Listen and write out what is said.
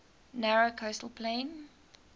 narrow coastal plain